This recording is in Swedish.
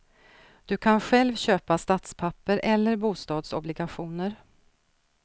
Du kan själv köpa statspapper eller bostadsobligationer.